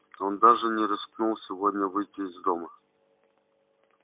он даже не рискнул сегодня выйти из дома